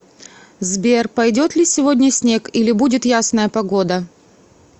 сбер пойдет ли сегодня снег или будет ясная погода